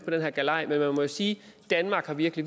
på den her galej men man må sige at danmark virkelig